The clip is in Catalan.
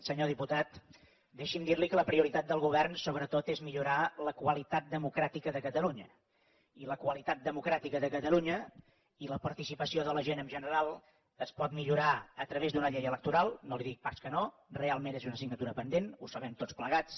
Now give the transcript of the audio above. senyor diputat deixi’m dir li que la prioritat del govern sobretot és millorar la qualitat democràtica de catalunya i la qualitat democràtica de catalunya i la participació de la gent en general es pot millorar a través d’una llei electoral no li dic pas que no realment és una assignatura pendent ho sabem tots plegats